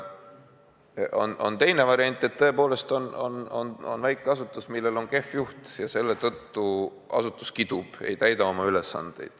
On ka teine variant: et tõepoolest on väike asutus, millel on kehv juht, ja selle tõttu asutus kidub, ei täida oma ülesandeid.